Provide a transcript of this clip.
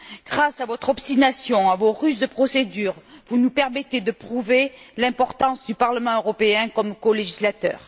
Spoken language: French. Grâce à votre obstination, à vos ruses de procédure, vous nous permettez de prouver l'importance du Parlement européen comme colégislateur.